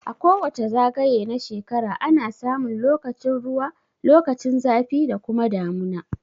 A kowace zagaye na shrekara ana samun lokacin ruwa lokacin zafi da kuma damuna